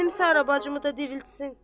Mənim Sara bacımı da diriltsin.